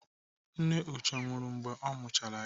Nne Uche nwụrụ mgbe ọ mụchara ya.